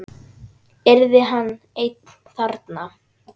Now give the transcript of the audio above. Yrði hann einn þarna?